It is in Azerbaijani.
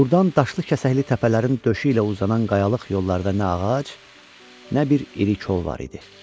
Buradan daşlı-kəsəkli təpələrin döşü ilə uzanan qayalıq yollarda nə ağac, nə bir iri kol var idi.